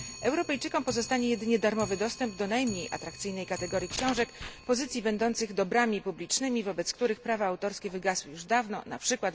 Europejczykom pozostanie jedynie darmowy dostęp do najmniej atrakcyjnej kategorii książek pozycji będących dobrami publicznymi, wobec których prawa autorskie wygasły już dawno, np.